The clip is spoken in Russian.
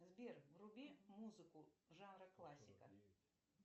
сбер вруби музыку жанра классика